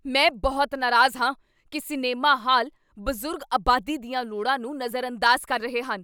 ਮੈਂ ਬਹੁਤ ਨਾਰਾਜ਼ ਹਾਂ ਕੀ ਸਿਨੇਮਾ ਹਾਲ ਬਜ਼ੁਰਗ ਆਬਾਦੀ ਦੀਆਂ ਲੋੜਾਂ ਨੂੰ ਨਜ਼ਰਅੰਦਾਜ਼ ਕਰ ਰਹੇ ਹਨ।